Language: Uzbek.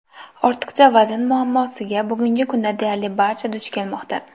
Ortiqcha vazn muammosiga bugungi kunda deyarli barcha duch kelmoqda.